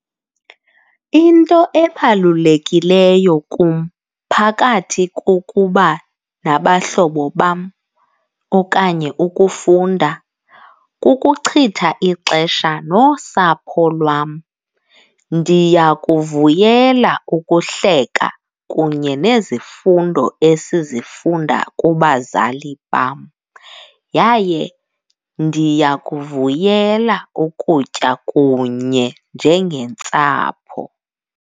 Into ebalulekileyo kum phakathi kukuba nabahlobo bam okanye ukufunda kukuchitha ixesha nosapho lwam. Ndiyakuvuyela ukuhleka kunye nezifundo esizifunda kubazali bam yaye ndiyakuvuyela ukutya kunye njengentsapho.